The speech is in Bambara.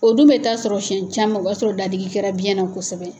O dun bɛ taa sɔrɔ siyɛn caman, o b'a sɔrɔ datigi kɛra biyɛn na kosɛbɛ.